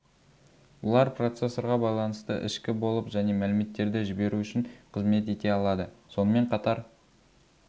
олар процессорға байланысты ішкі болып және мәліметтерді жіберу үшін қызмет ете алады сонымен қатар